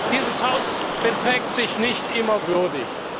Dieses Haus beträgt sich nicht immer würdig.